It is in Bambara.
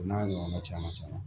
O n'a ɲɔgɔnna caman caman